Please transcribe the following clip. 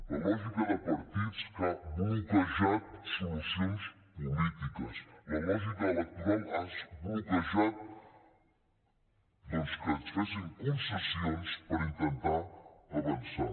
la lògica de partits ha bloquejat solucions polítiques la lògica electoral ha bloquejat doncs que es fessin concessions per intentar avançar